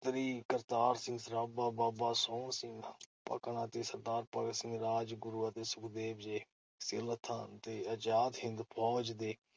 ਕਰਤਾਰ ਸਿੰਘ ਸਰਾਭਾ ਬਾਬਾ ਸੋਹਨ ਸਿੰਘ ਭਕਨਾ ਤੇ ਸ. ਭਗਤ ਸਿੰਘ, ਰਾਜਗੁਰੂ ਅਤੇ ਸੁਖਦੇਵ ਜਿਹੇ ਸਿਰਲੱਥਾਂ ਤੇ ਅਜ਼ਾਦ ਹਿੰਦ ਫ਼ੌਜ ਦੇ